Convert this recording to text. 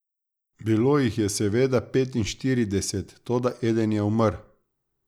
Bilo jih je seveda petinštirideset, toda eden je umrl.